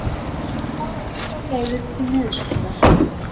Skoða aðrar leiðir til niðurskurðar